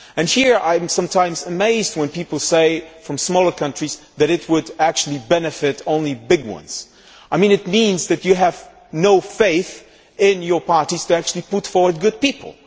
Here I am sometimes amazed when people from smaller countries say that it would actually benefit only big countries. This means that you have no faith in your parties to actually put forward good people.